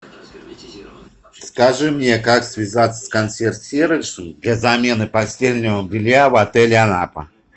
скажи мне как связаться с консьерж сервисом для замены постельного белья в отеле анапа